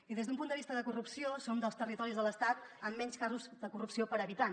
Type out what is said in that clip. i des d’un punt de vista de corrupció som dels territoris de l’estat amb menys casos de corrupció per habitant